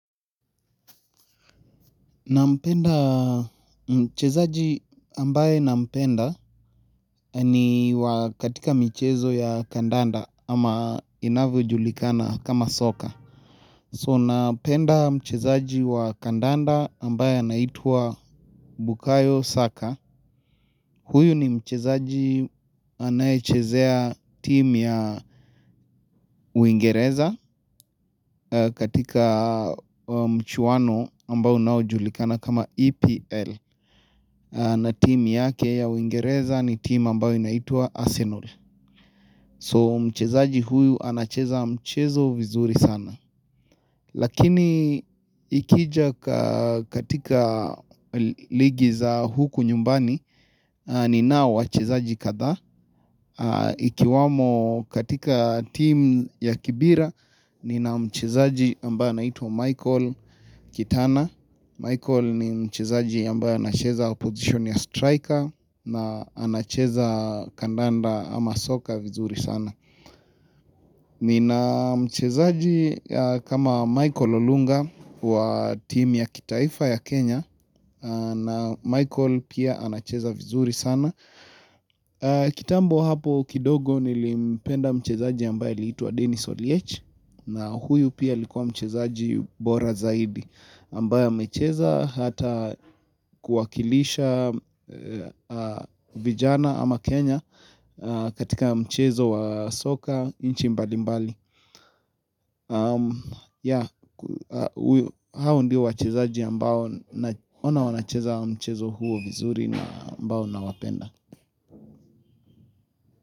Nampenda, mchezaji ambaye nampenda ni wa katika michezo ya kandanda ama inavyojulikana kama soka. So napenda mchezaji wa kandanda ambaye anaitwa Bukayo Saka Huyu ni mchezaji anaechezea team ya uingereza katika mchuano ambao unaojulikana kama EPL na team yake ya uingereza ni team ambauo inaitwa Arsenal. So mchezaji huyu anacheza mchezo vizuri sana Lakini ikija katika ligi za huku nyumbani ninao wachezaji kadhaa Ikiwamo katika team ya kibira nina mchezaji ambaye anaitwa Michael Kitana. Michael ni mchezaji ambaye anacheza position ya striker na anacheza kandanda ama soka vizuri sana Nina mchezaji kama Michael Olunga wa team ya kitaifa ya Kenya na Michael pia anacheza vizuri sana kitambo hapo kidogo nilimpenda mchezaji ambaye aliitwa Dennis Oliech na huyu pia likuwa mchezaji bora zaidi ambaye amecheza hata kuwakilisha vijana ama Kenya katika mchezo wa soka nchi mbalimbali Yeah, hao ndio wachezaji ambao naona wanacheza mchezo huo vizuri na ambao nawapenda.